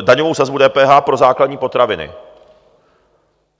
daňovou sazbu DPH pro základní potraviny.